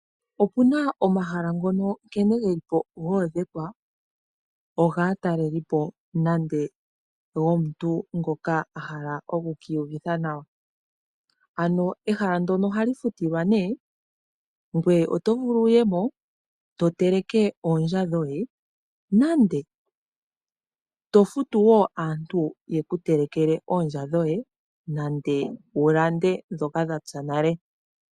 Okuna omahala ngono nkene geli po goondhekwa ogaa talelipo nande gomuntu ngoka a hala oku kiiyuvitha nawa. Ano ehala ndono ohali futilwa nee, ngweye oto vulu wuye mo to teleke oondja dhoye, nande to futu aantu yeku telekele oondja dhoye, nande wu lande ndhoka dha tsa nale.